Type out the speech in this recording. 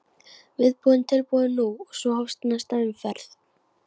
Viðbúinn, tilbúinn- nú! og svo hófst næsta umferð.